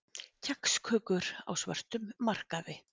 Kexkökur á svörtum markaði